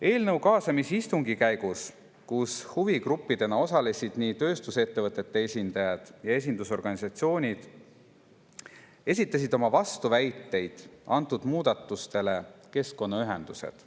Eelnõu kaasamisistungi käigus, kus huvigruppidena osalesid nii tööstusettevõtete esindajad kui ka esindusorganisatsioonid, esitasid oma vastuväiteid antud muudatustele keskkonnaühendused.